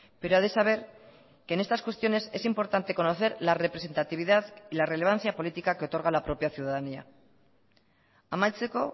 pero ha de saber que en estas cuestiones es importante conocer la representatividad y la relevancia política que otorga la propia ciudadanía amaitzeko